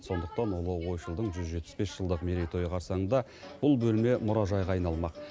сондықтан ұлы ойшылдың жүз жетпіс бес жылдық мерейтойы қарсаңында бұл бөлме мұражайға айналмақ